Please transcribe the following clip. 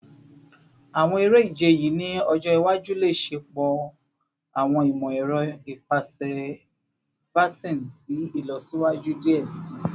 Awọn ere-ije yii ni ọjọ iwaju le ṣepọ awọn imọ-ẹrọ ipasẹ baton ti ilọsiwaju diẹ sii